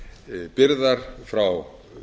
þannig byrðar frá